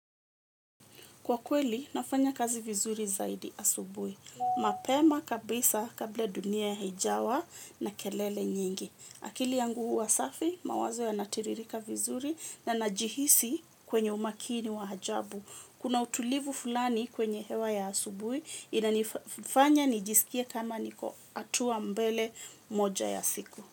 Kwa kweli, nafanya kazi vizuri zaidi asubui. Mapema kabisa kabla dunia hijawa na kelele nyingi. Akili yangu huwa safi, mawazo yanatiririka vizuri na najihisi kwenye umakini wa ajabu. Kuna utulivu fulani kwenye hewa ya asubui, inanifanya nijisikie kama niko hatua mbele moja ya siku.